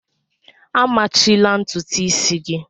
A machila ntutu isi gị!